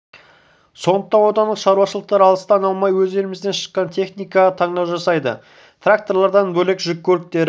сондықтан отандық шаруашылықтар алыстан алмай өз елімізден шыққан техникаға таңдау жасайды тракторлардан бөлек жүк көліктері